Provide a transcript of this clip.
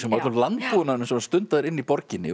öllum landbúnaðinum sem var stundaður inni í borginni